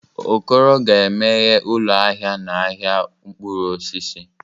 Okoro ga-emeghe ụlọ ahịa n'ahịa mkpụrụ osisi.